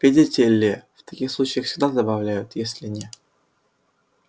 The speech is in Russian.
видите ли в таких случаях всегда добавляют если не